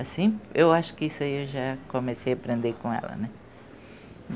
Assim, eu acho que isso aí eu já comecei a aprender com ela, né?